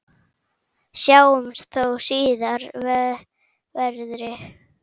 Sjáumst þó síðar verði.